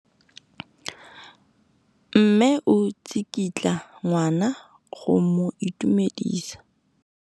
Mme o tsikitla ngwana go mo itumedisa.